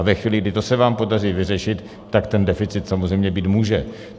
A ve chvíli, kdy to se vám podaří vyřešit, tak ten deficit samozřejmě být může.